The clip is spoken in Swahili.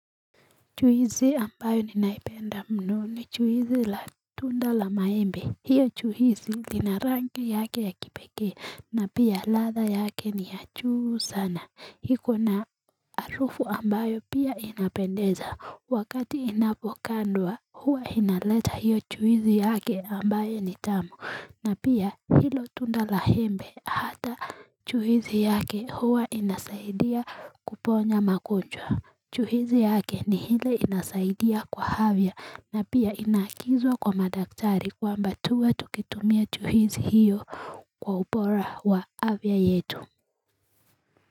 Chuhizi ambayo ninaipenda mnu ni chuhizi la tunda la maembe. Hiyo chuhizi nina ranka yake ya kipeke na pia ladha yake ni achu sana. Hiko na arufu ambayo pia inapendeza. Wakati inafokandwa huwa inaleta hiyo chuhizi yake ambayo ni tamu. Na pia hilo tunda la embe hata chuhizi yake huwa inasaidia kuponya makonjwa. Chuhizi yake ni hile inasaidia kwa havya na pia inakizwa kwa madaktari kwamba tuwa tukitumia chuhizi hiyo kwa upora wa havya yetu.